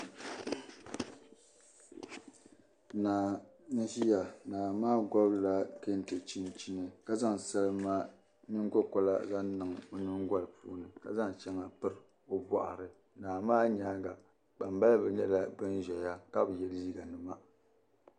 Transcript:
Naa n ʒiya naa maa gobila kɛntɛ chinchini ka zaŋ salima nyiŋ go korigu niŋ ɔ nyiŋgolini. ka zaŋ shaŋa n piri ɔ bɔɣiri, naa maa nyaaŋa kpaŋ baliba nyɛla ban ʒaya ka bi ye liiga nima